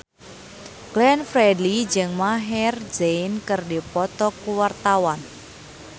Glenn Fredly jeung Maher Zein keur dipoto ku wartawan